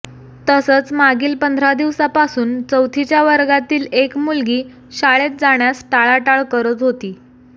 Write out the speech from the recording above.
तसंच मागील पंधरा दिवसापासून चौथीच्या वर्गातील एक मुलगी शाळेत जाण्यास टाळाटाळ करत होती